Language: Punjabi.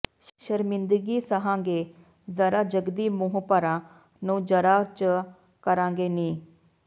ਸ਼ਰਮਿੰਦਗੀ ਸਹਾਂ ਗੇ ਜ਼ਰਾ ਜਗਦੀ ਮੂੰਹ ਪਰ੍ਹਾਂ ਨੂੰ ਜਰਾ ਚਾ ਕਰਾਂਗੇ ਨੀ